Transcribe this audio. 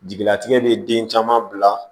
Jigilatigɛ bɛ den caman bila